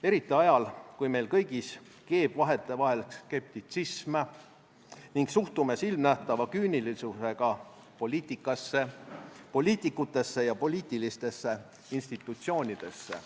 Eriti ajal, kui meis kõigis keeb vahetevahel skeptitsism ning suhtume silmnähtava küünilisusega poliitikasse, poliitikutesse ja poliitilistesse institutsioonidesse.